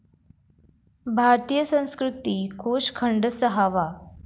भारतीय संस्कृती कोष खंड सहावा